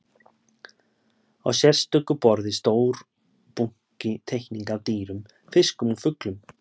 Á sérstöku borði stór bunki teikninga af dýrum, fiskum og fuglum.